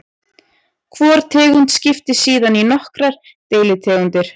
Hvor tegund skiptist síðan í nokkrar deilitegundir.